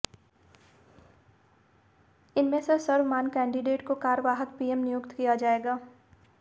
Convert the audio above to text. इनमें से सर्वमान्य कैंडिडेट को कार्यवाहक पीएम नियुक्त किया जाएगा